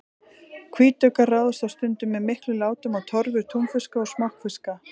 Hvítuggar ráðast stundum með miklum látum á torfur túnfiska og smokkfiska.